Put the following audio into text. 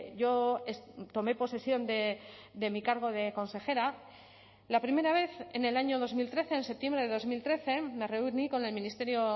yo tomé posesión de mi cargo de consejera la primera vez en el año dos mil trece en septiembre de dos mil trece me reuní con el ministerio